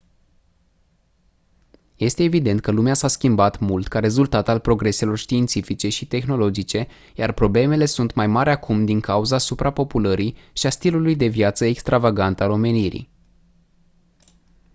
este evident că lumea s-a schimbat mult ca rezultat al progreselor științifice și tehnologice iar problemele sunt mai mari acum din cauza suprapopulării și a stilului de viață extravagant al omenirii